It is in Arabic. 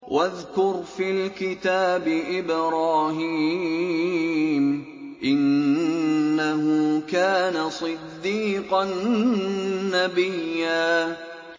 وَاذْكُرْ فِي الْكِتَابِ إِبْرَاهِيمَ ۚ إِنَّهُ كَانَ صِدِّيقًا نَّبِيًّا